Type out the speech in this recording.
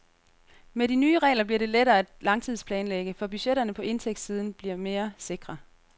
Med de nye regler bliver lettere at langtidsplanlægge, for budgetterne på indtægtssiden bliver meresikre.